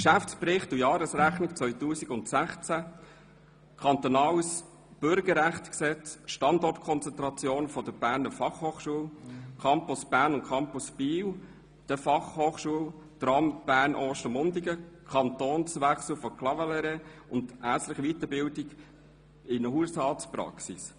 Geschäftsbericht mit Jahresrechnung 2016, Kantonales Bürgerrechtsgesetz, Standortkonzentration der Berner Fachhochschule, Campus Bern und Campus Biel/Bienne der Berner Fachhochschule, Tram Bern–Ostermundigen, Kantonswechsel von Clavaleyres sowie Ärztliche Weiterbildung in Hausarztpraxen.